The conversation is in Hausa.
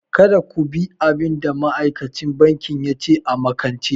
Kada ku bi abin da ma'aikacin banki ya ce a makance!